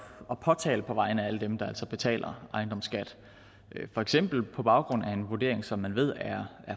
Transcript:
at påtale på vegne af alle dem der altså betaler ejendomsskat for eksempel på baggrund af en vurdering som man ved er